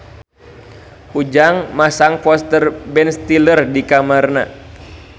Ujang masang poster Ben Stiller di kamarna